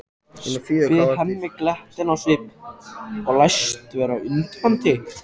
spyr Hemmi glettinn á svip og læst vera undrandi.